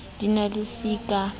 di na le c ka